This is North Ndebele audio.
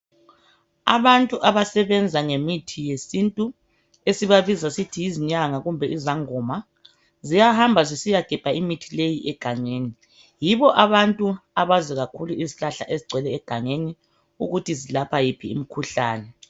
Abantu abasebenza ngemithi yesintu esibabiza sithi zinyanga kumbe izangoma ziyahamba zisiya gebha imithi leyi egangeni yibo abakwazi kakhulu uzihlahla ezingcwele egangeni ukuthi zelapha iphi imikhuhlane